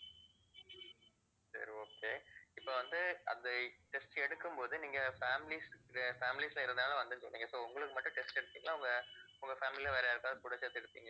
சரி okay இப்ப வந்து அந்த test எடுக்கும் போது நீங்க families families ல இருந்தாலும் வந்து சொன்னீங்க so உங்களுக்கு மட்டும் test எடுத்தீங்களா உங்க உங்க family ல வேற யாருக்காவது கூட சேர்த்து எடுத்தீங்களா